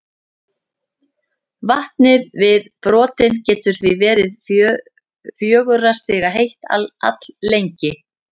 Vatnið við botninn getur því verið fjögurra stiga heitt alllengi.